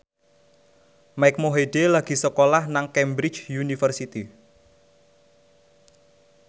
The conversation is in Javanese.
Mike Mohede lagi sekolah nang Cambridge University